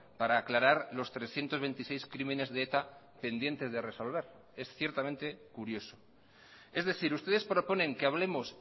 para aclarar los trescientos veintiséis crímenes de eta pendientes de resolver es ciertamente curioso es decir ustedes proponen que hablemos